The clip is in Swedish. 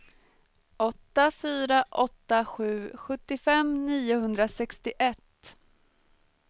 åtta fyra åtta sju sjuttiofem niohundrasextioett